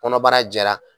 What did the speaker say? Kɔnɔbara jɛra